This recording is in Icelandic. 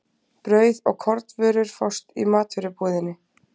Brauð og kornvörur fást í matvörubúðinni.